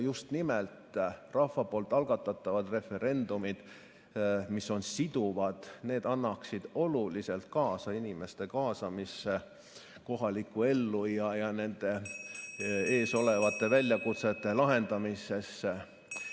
Just nimelt rahva poolt algatatavad referendumid, mis on siduvad, aitaksid oluliselt kaasa inimeste kaasamisele kohalikku ellu ja nende ees olevate väljakutsete lahendamisse.